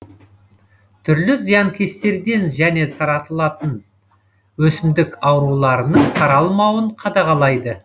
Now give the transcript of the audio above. түрлі зиянкестерден және таралатын өсімдік ауруларының таралмауын қадағалайды